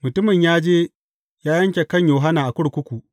Mutumin ya je ya yanke kan Yohanna a kurkuku.